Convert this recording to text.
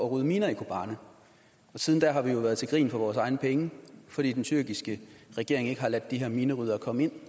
at rydde miner i kobane og siden da har vi jo været til grin for vores egne penge fordi den tyrkiske regering ikke har ladet de her mineryddere komme ind